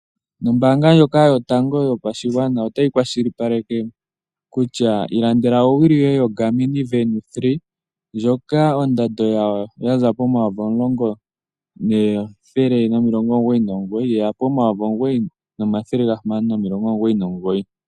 Ano ombaanga ndjoka yotango yopashigwana otayi kwashilipaleke kutya ilandela owili yoye yoGarmin Venu 3. Ndjoka ondando yawo yaza pomayovi omulongo nethele nomilongo omugoyi nomugoyi, yeya pomayovi omugoyi nomathele gahamano nomilongo omugoyi nomugoyi.